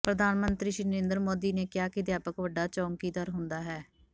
ਪ੍ਰਧਾਨ ਮੰਤਰੀ ਸ੍ਰੀ ਨਰਿੰਦਰ ਮੋਦੀ ਨੇ ਕਿਹਾ ਕਿ ਅਧਿਆਪਕ ਵੱਡਾ ਚੋਕੀਦਾਰ ਹੁੰਦਾ ਹੈ